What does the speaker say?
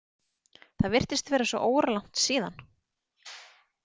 Það virtist vera svo óralangt síðan.